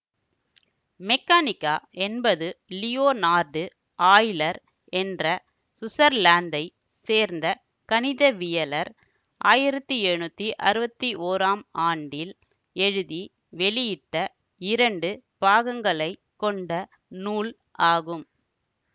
மெக்கானிக்கா என்பது Leonard Euler என்ற சுவிட்சர்லாந்தைச் சேர்ந்த கணிதவியலர் ஆயிரத்தி எழுநூத்தி அறுவத்தி ஓராம் ஆண்டில் எழுதி வெளியிட்ட இரண்டு பாகங்களைக் கொண்ட நூல் ஆகும்